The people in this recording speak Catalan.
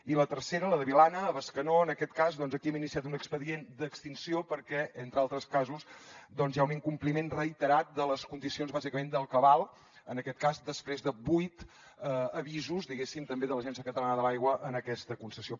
i la tercera la de vilanna a bescanó en aquest cas doncs aquí hem iniciat un expedient d’extinció perquè entre altres casos hi ha un incompliment reiterat de les condicions bàsicament del cabal en aquest cas després de vuit avisos diguéssim també de l’agència catalana de l’aigua a aquesta concessió